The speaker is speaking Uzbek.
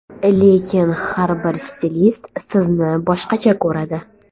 Lekin har bir stilist sizni boshqacha ko‘radi.